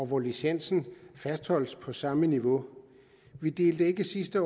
hvor licensen fastholdes på samme niveau vi delte ikke sidste